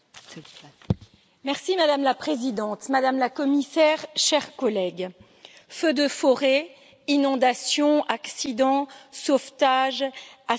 Madame la Présidente, Madame la Commissaire, chers collègues, feux de forêts, inondations, accidents, sauvetage, assistance à la personne...